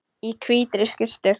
Í hvítri skyrtu.